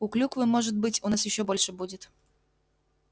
а клюквы может быть у нас ещё больше будет